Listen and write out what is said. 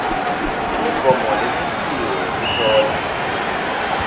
imigomo lemisiwe yekuhlola